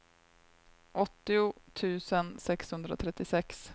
åttio tusen sexhundratrettiosex